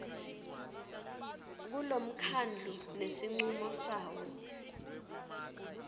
kulomkhandlu ngesincumo sawo